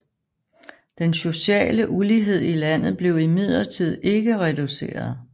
Den sociale ulighed i landet blev imidlertid ikke reduceret